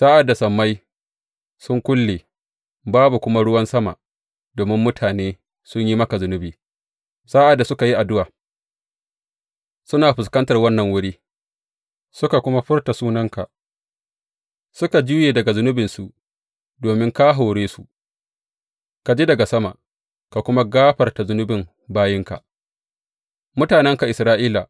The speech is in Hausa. Sa’ad da sammai sun kulle, babu kuma ruwan sama domin mutane sun yi maka zunubi, sa’ad da suka yi addu’a suna fuskantar wannan wuri, suka kuma furta sunanka, suka juye daga zunubinsu domin ka hore su, ka ji daga sama, ka kuma gafarta zunubin bayinka, mutanenka Isra’ila.